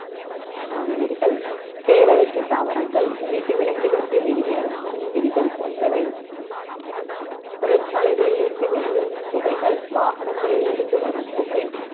உன்னுயிரிகள் தேவையற்ற தாவரங்கள் வீட்டு விலங்கிலிருந்து வெளியேறும் உண்ணும் உயிர்கள் போன்றவை தொழிற்சாலைகளில் இருந்து வெளியேறும் புகைகள் வாகனங்களில் இருந்து வரும் புகை